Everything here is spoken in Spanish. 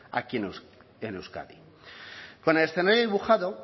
aquí en euskadi con el escenario dibujado